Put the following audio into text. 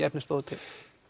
efni stóðu til